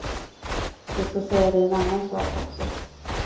Jag ska säga dig en annan sak också.